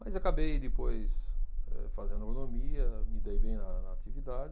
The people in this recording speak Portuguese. Mas acabei depois eh fazendo agronomia, me dei bem na na atividade.